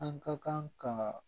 An ka kan ka